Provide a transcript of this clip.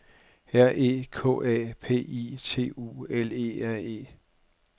R E K A P I T U L E R E